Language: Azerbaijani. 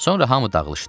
Sonra hamı dağılışdı.